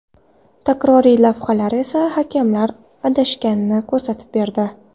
Takroriy lavhalar esa hakamlar adashganini ko‘rsatib berdi.